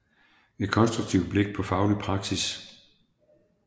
Et konstruktivt blik på faglig praksis